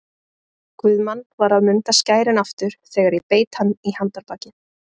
Guðmann var að munda skærin aftur þegar ég beit hann í handarbakið.